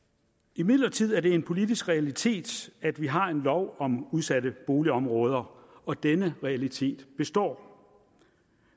imidlertid er det en politisk realitet at vi har en lov om udsatte boligområder og denne realitet består